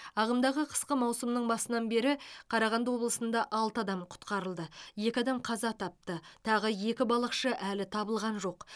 ағымдағы қысқы маусымның басынан бері қарағанды облысында алты адам құтқарылды екі адам қаза тапты тағы екі балықшы әлі табылған жоқ